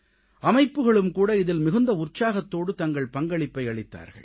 அமைப்புகளும் கூட இதில் மிகுந்த உற்சாகத்தோடு தங்கள் பங்களிப்பை அளித்தார்கள்